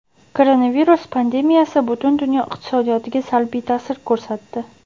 Koronavirus pandemiyasi butun dunyo iqtisodiyotiga salbiy ta’sir ko‘rsatdi.